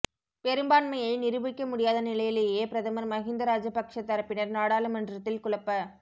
பெரும்பான்மையை நிரூபிக்க முடியாத நிலையிலேயே பிரதமர் மஹிந்த ராஜபக்ஷ தரப்பினர் நாடாளுமன்றத்தில் குழப்ப